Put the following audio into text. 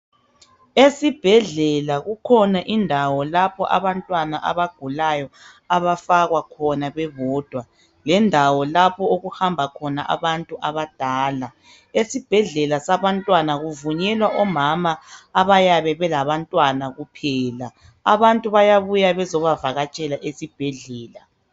Esibhedlela kukhona indawo lapho abantwana abagulayo abafakwa khona bebodwa. Lendawo lapho okuhamba khona abantu abadala . Esibhedlela sabantwana kuvunyelwa omama abayabe belabantwana kuphela. Abantu bayabuya bezobavakatshela esibhedlela.